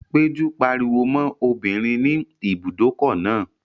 Péjú pariwo mọ́ obìnrin ní ibùdókọ̀ náà